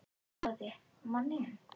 Boði: Manninum?